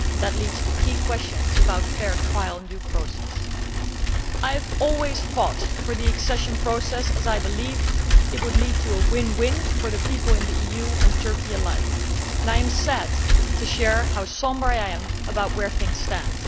That leads to key questions about fair trial and due process. I have always fought for the accession process as I believed it would lead to a win win situation for the people in the EU and Turkey alike, and I am sad to share how sombre I am about where things stand.